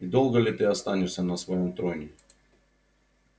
и долго ли ты останешься на своём троне